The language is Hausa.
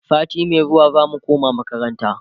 sati Mai zuwa zamu koma makaranta